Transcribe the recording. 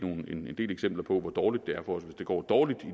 en del eksempler på hvor dårligt det er for os hvis det går dårligt